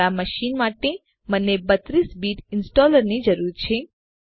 મારા મશીન માટે મને 32 બીટ ઈંસ્ટોલરની જરૂર છે